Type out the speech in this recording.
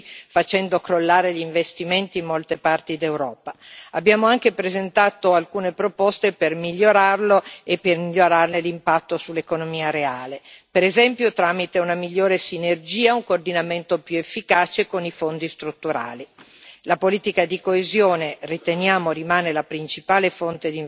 Abbiamo anche presentato alcune proposte per migliorarlo e per migliorarne l'impatto sull'economia reale, per esempio tramite una migliore sinergia e un coordinamento più efficace con i fondi strutturali. Riteniamo che la politica di coesione rimanga la principale fonte di investimento europeo e che dovrà essere preservata e aggiornata.